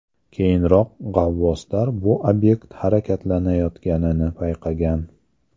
Keyinroq g‘avvoslar bu obyekt harakatlanayotganini payqagan.